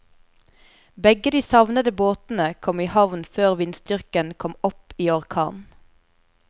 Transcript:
Begge de savnede båtene kom i havn før vindstyrken kom opp i orkan.